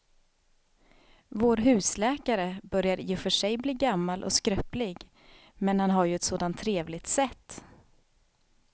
Vår husläkare börjar i och för sig bli gammal och skröplig, men han har ju ett sådant trevligt sätt!